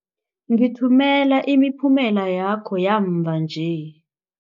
Ngithumela imiphumela yakho yamva nje.